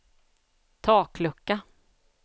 taklucka